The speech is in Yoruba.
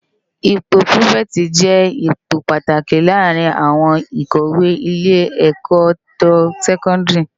Ipò pirifèti jè ipó pàtáki làárin áwòn ákòwé ilé èkò to sèkòndiri